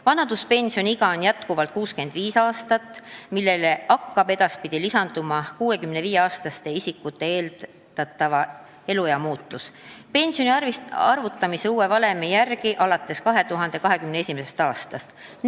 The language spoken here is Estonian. Vanaduspensioniiga on jätkuvalt 65 aastat, millele hakkab edaspidi lisanduma 65-aastaste isikute eeldatava eluea muutus pensioni arvutamise uue valemi järgi, seda alates 2021. aastast.